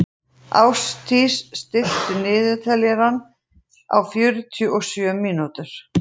Ástdís, stilltu niðurteljara á fjörutíu og sjö mínútur.